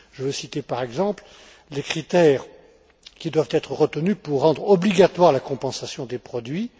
Je veux citer, à titre d'exemple, les critères qui doivent être retenus pour rendre obligatoire la compensation des produits